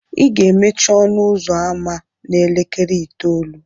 ị ga-emechi ọnụ ụzọ ámá a n'elekere itoolu